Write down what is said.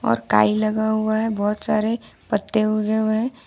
और काई लगा हुआ है बहुत सारे पत्ते उगे हुए हैं।